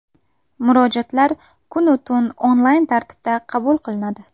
Murojaatlar kunu tun onlayn tartibda qabul qilinadi.